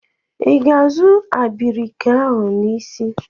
Ị ga-azụ abrika ahụ n'isi?